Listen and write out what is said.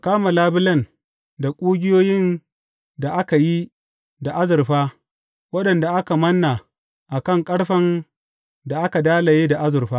Ka kama labulen da ƙugiyoyin da aka yi da azurfa waɗanda aka manna a kan ƙarfen da aka dalaye da azurfa.